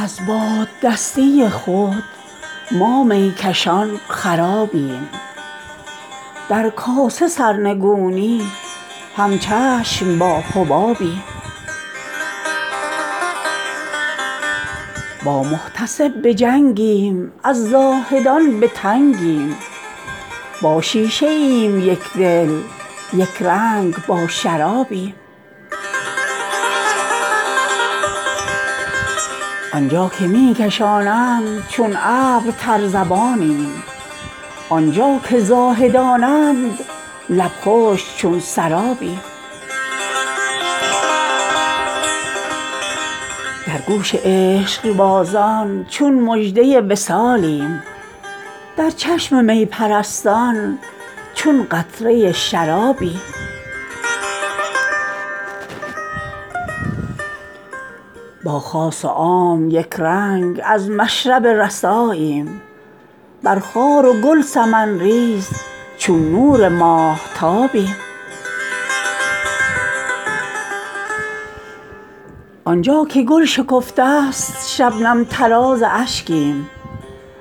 از باد دستی خود ما میکشان خرابیم در کاسه سرنگونی همچشم با حبابیم با محتسب به جنگیم از زاهدان به تنگیم با شیشه ایم یکدل یکرنگ با شرابیم آنجا که می کشان اند چون ابر تر زبانیم آنجا که زاهدان اند لب خشک چون سرابیم در گوش عشقبازان چون مژده وصالیم در چشم می پرستان چون قطره شرابیم با خاص و عام یکرنگ از مشرب رساییم بر خار و گل سمن ریز چون نور ماهتابیم آنجا که داغ بیدرد گل کرد پنبه زاریم آنجا که زخم عشاق خندید مشک نابیم آنجا که گل شکفته است شبنم طراز اشکیم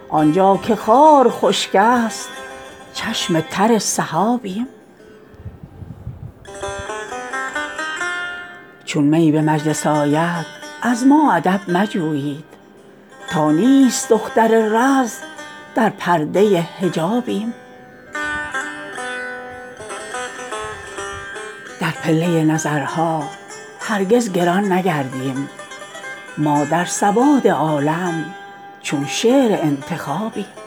آنجا که خار خشکی است چشم تر سحابیم چون می به مجلس آید از ما ادب مجویید تا نیست دختر رز در پرده حجابیم در پله نظرها هرگز گران نگردیم ما در سواد عالم چون شعر انتخابیم زلف معنبری نیست زان روی بی دماغیم حسن برشته ای نیست از بهر آن کبابیم بر تیغ حدت طبع در جمع موشکافان ما جوهریم ازان رو در قید پیچ و تابیم از مشرق بناگوش خندید صبح پیری ما تیره روزگاران در سیر ماهتابیم یک ره به گوشه چشم در زیر پا نظر کن عمری است پایمالت چون دیده رکابیم تا اقتدا نمودیم بر فطرت ظفرخان چون فکرهای صایب پیوسته بر صوابیم